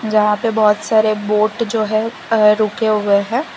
जहां पे बहोत सारे बोट जो हैं रुके हुए हैं।